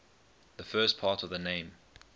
the first part of the name